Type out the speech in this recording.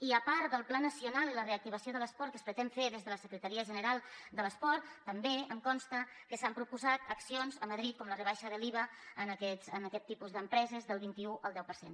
i a part del pla nacional i la reactivació de l’esport que es pretén fer des de la secretaria general de l’esport també em consta que s’han proposat accions a madrid com la rebaixa de l’iva a aquest tipus d’empreses del vint un al deu per cent